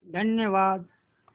धन्यवाद